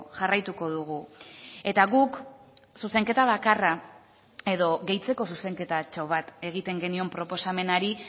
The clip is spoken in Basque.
jarraituko dugu eta guk zuzenketa bakarra edo gehitzeko zuzenketatxo bat egiten genion proposamenari